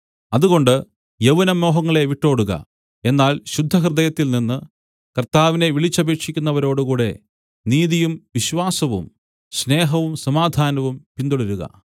അതുകൊണ്ട് യൗവനമോഹങ്ങളെ വിട്ടോടുക എന്നാൽ ശുദ്ധഹൃദയത്തിൽ നിന്ന് കർത്താവിനെ വിളിച്ചപേക്ഷിക്കുന്നവരോടു കൂടെ നീതിയും വിശ്വാസവും സ്നേഹവും സമാധാനവും പിന്തുടരുക